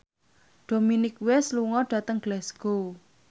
Dominic West lunga dhateng Glasgow